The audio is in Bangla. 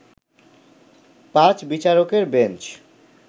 পাঁচ বিচারকের বেঞ্চ